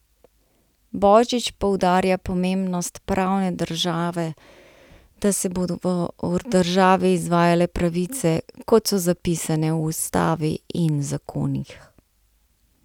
Božič poudarja pomembnost pravne države, da se bodo v državi izvajale pravice, kot so zapisane v ustavi in zakonih.